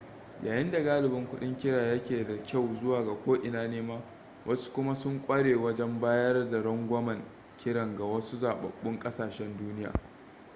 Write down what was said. yayin da galibin kudin kira yake da kyau zuwa ko ina nema wasu kuma sun kware wajen bayar da rangwamen kiran ga wasu zababbun kasashen duniya